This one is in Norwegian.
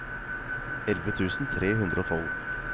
elleve tusen tre hundre og tolv